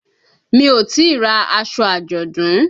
Mi ò tíì ra aṣọ àjọ̀dún.